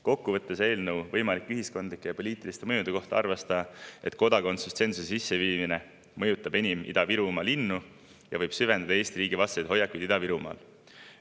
Kokkuvõtteks arvas ta eelnõu võimalike ühiskondlike ja poliitiliste mõjude kohta, et kodakondsustsensuse sisseviimine mõjutab enim Ida-Virumaa linnu ja võib süvendada Eesti riigi vastaseid hoiakuid Ida-Virumaal.